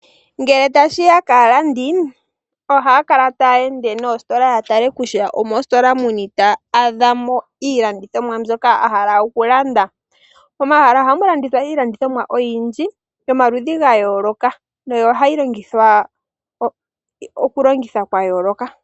Ngele tashi ya kaalandi ohaya kala taya ende noositola yatale kutya omoositola yini taya adha mo iilandithomwa mbyoka a hala oku landa. Ohamu landithwa iilandithomwa oyindji yomaludhi gayooloka, yo ohayi longithwa oku longithwa kwa yooloka.